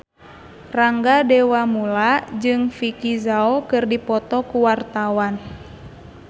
Rangga Dewamoela jeung Vicki Zao keur dipoto ku wartawan